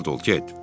Dica de ol get.